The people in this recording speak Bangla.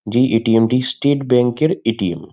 যে এ.টি.এম. টি স্টেট ব্যাংক এর এ.টি.এম. ।